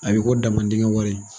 A bi ko daman dingɛ wari